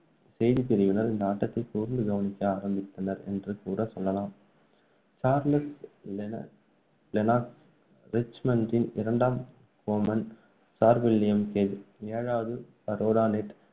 செய்திப்பிரிவினர் இந்த ஆட்டத்தை கூர்ந்து கவனிக்க ஆரம்பித்தனர் என்று கூட சொல்லலாம். சார்லஸ் லெனா~ லெனாக்ஸ், ரிச்மண்டின் இரண்டாம் கோமான், சார் வில்லியம் கேஜ், ஏழாவது பேரோநெட்,